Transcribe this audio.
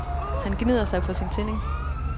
Han gnider sig på sin tinding.